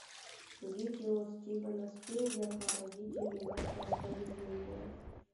видео стивена спилберга родители легкого поведения